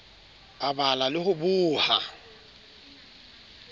a bala le ho boha